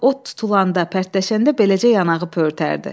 Bax, ot tutulanda, pərtlənəndə beləcə yanağı pöhrətərdi.